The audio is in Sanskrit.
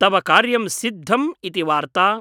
तव कार्यं सिद्धम् इति वार्ता ।